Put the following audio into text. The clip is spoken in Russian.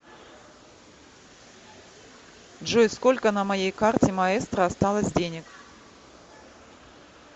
джой сколько на моей карте маэстро осталось денег